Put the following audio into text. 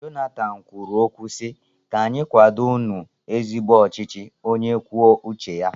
Jonathan kwuru okwu si, 'ka anyị kwado nu ezigbo ọchịchị onye kwuo uche ya'